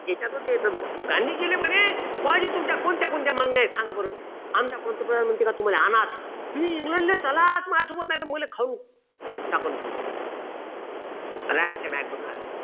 ह्याच्यात होते तर गांधीजीले म्हणे बुआजी तुमच्या कोणत्या कोणत्या मागण्या आहे सांगा बरं आमचा पंतप्रधान म्हणतो तुम्हाला आनाच तुम्ही इंग्लंडले चलाच माझेसोबत नाही तर मले